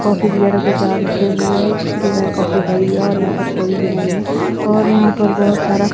coffee वगैरा के jar रखे हुए हैं जिसके कॉफी भरी हुई है और यहां पर कोई भी नहीं है और यहां पर बहोत सारा--